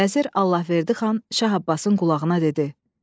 Vəzir Allahverdi xan Şah Abbasın qulağına dedi: